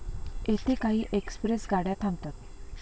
येथे काही एक्सप्रेस गाड्या थांबतात